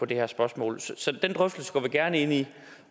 det her spørgsmål så den drøftelse går vi gerne ind i